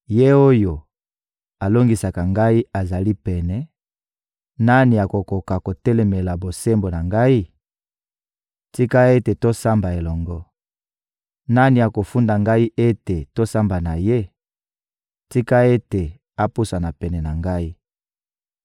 Ye oyo alongisaka ngai azali pene, nani akokoka kotelemela bosembo na ngai? Tika ete tosamba elongo! Nani akofunda ngai ete tosamba na ye? Tika ete apusana pene na ngai!